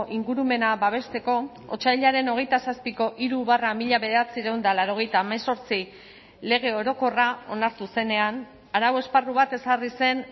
ingurumena babesteko otsailaren hogeita zazpiko hiru barra mila bederatziehun eta laurogeita hemezortzi lege orokorra onartu zenean arau esparru bat ezarri zen